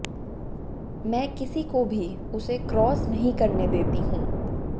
मैं किसी को भी उसे क्रॉस नहीं करने देती हूं